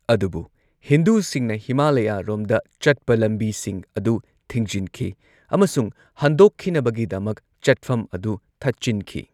ꯑꯗꯨꯕꯨ ꯍꯤꯟꯗꯨꯁꯤꯡꯅ ꯍꯤꯃꯥꯂꯌꯥꯔꯣꯝꯗ ꯆꯠꯄ ꯂꯝꯕꯤꯁꯤꯡ ꯑꯗꯨ ꯊꯤꯡꯖꯤꯟꯈꯤ ꯑꯃꯁꯨꯡ ꯍꯟꯗꯣꯛꯈꯤꯅꯕꯒꯤꯗꯃꯛ ꯆꯠꯐꯝ ꯑꯗꯨ ꯊꯠꯆꯤꯟꯈꯤ꯫